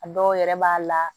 A dɔw yɛrɛ b'a la